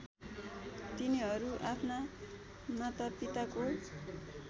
तिनीहरू आफ्ना मातापिताको